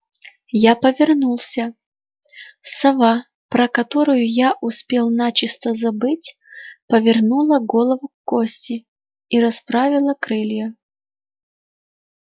я повернулся сова про которую я успел начисто забыть повернула голову к косте и расправила крылья